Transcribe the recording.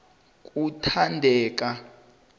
kuthandeka